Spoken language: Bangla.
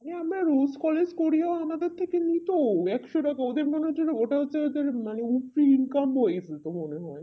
হ্যাঁ আমার collage কোরিয়া ওনাদের থেকে নিতো একশো টাকা ওদের মনে ওটা হচ্ছে হচ্ছে মানে উর্তীর income ফেলতো মনে হয়